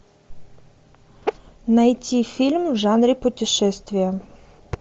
найти фильм в жанре путешествия